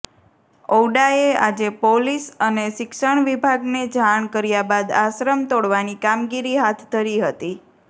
ઔડાએ આજે પોલીસ અને શિક્ષણ વિભાગને જાણ કર્યાબાદ આશ્રમ તોડવાની કામગીરી હાથ ધરી હતી